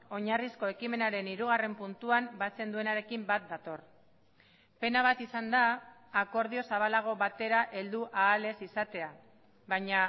oinarrizko ekimenaren hirugarren puntuan batzen duenarekin bat dator pena bat izan da akordio zabalago batera heldu ahal ez izatea baina